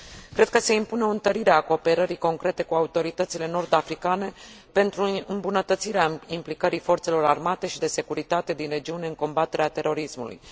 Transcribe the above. Cred că se impune o întărire a cooperării concrete cu autoritățile nord africane, pentru îmbunătățirea implicării forțelor armate și de securitate din regiune în combaterea terorismului.